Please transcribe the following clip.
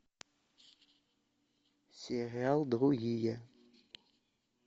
сериал другие